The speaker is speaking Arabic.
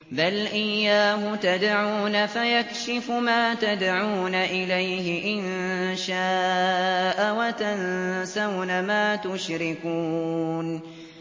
بَلْ إِيَّاهُ تَدْعُونَ فَيَكْشِفُ مَا تَدْعُونَ إِلَيْهِ إِن شَاءَ وَتَنسَوْنَ مَا تُشْرِكُونَ